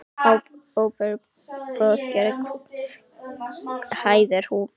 Ó, Boðberi, Boðberi hæðir hún hann.